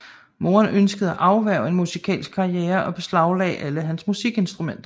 Moderen ønskede at afværge en musikalsk karriere og beslaglagde alle hans musikinstrumenter